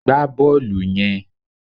Gbá bọ́ọ̀lù yen